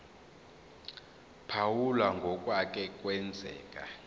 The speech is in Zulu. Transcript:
phawula ngokwake kwenzeka